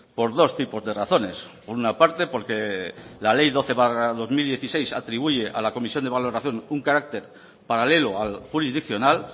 por dos tipos de razones por una parte porque la ley doce barra dos mil dieciséis atribuye a la comisión de valoración un carácter paralelo al jurisdiccional